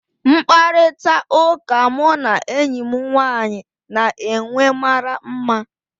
Mkparịta ụka mụ na enyi m nwanyị na-enwe mara mma